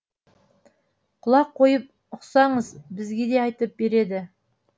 құлақ қойып ұқсаңыз бізге де айтып береді